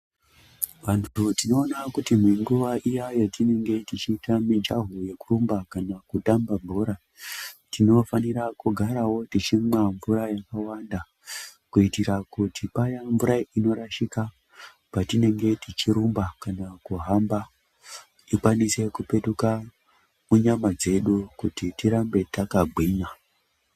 Vantu tinoona kuti imwe nguva iya yatinenge tichiita mijaho yekurumba kana kutamba bhora, tinofanira kugaravo tichimwa mvura yakawanda. Kuitira kuti paya mvura inorashika patinenge tichirumba kana kuhamba ikwanise kupetuka munyama dzedu kuti tirambe takagwinya.